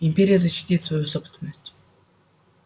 империя защитит свою собственность